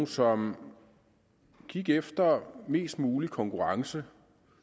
som gik efter mest mulig konkurrence